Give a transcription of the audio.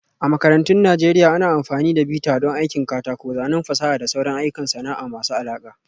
A makarantun Najeriya, ana amfani da bita don aikin katako, zanen fasaha da sauran ayyukan sana'a masu alaƙa